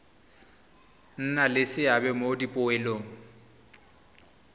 nna le seabe mo dipoelong